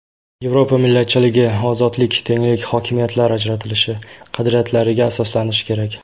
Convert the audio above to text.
Yevropa millatchiligi ozodlik, tenglik, hokimiyatlar ajratilishi qadriyatlariga asoslanishi kerak.